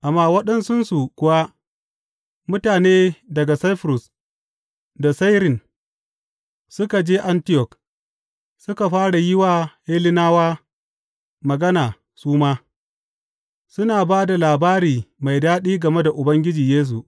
Amma waɗansunsu kuwa, mutane daga Saifurus da Sairin, suka je Antiyok suka fara yi wa Hellenawa magana su ma, suna ba da labari mai daɗi game da Ubangiji Yesu.